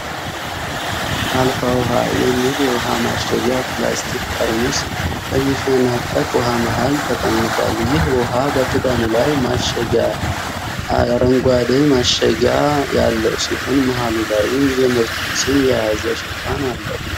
አልፋ ዉሃ የሚል የዉሃ ማሸጊያ ፕላስቲክ ጠርሙስ በሚፈናጠቅ ዉሃ መሃል ተቀምጧል። ይህ ዉሃ በክዳኑ ላይ ማሸጊያ አረንጓዴ ማሸጊያ ያለው ሲሆን መሃሉ ላይም የምርቱን ስም የያዘ ሽፋን አለው።